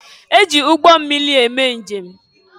E ji ụgbọmmịri eme njem.